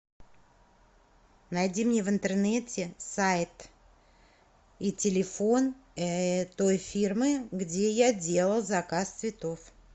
найди мне в интернете сайт и телефон той фирмы где я делала заказ цветов